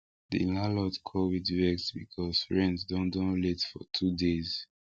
the landlord call with vex because rent don don late for two days